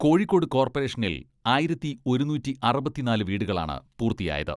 കോഴിക്കോട് കോർപ്പറേഷനിൽ ആയിരത്തി ഒരുനൂറ്റി അറുപത്തിനാല് വീടുകളാണ് പൂർത്തിയായത്.